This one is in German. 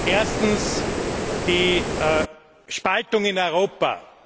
Erstens die Spaltung in Europa.